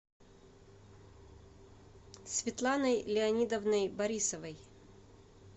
светланой леонидовной борисовой